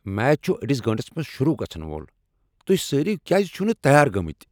Match چھ أڈس گٲنٹس منز شروع گژھن وول۔ تہۍ سٲری کیازِ چھِو نہ تیار گمتۍ؟